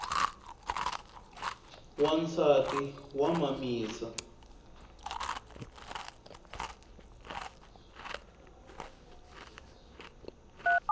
wansati wa mamisa